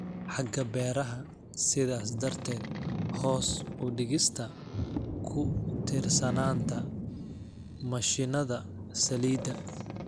xagga beeraha, sidaas darteed hoos u dhigista ku tiirsanaanta mashiinnada saliidda.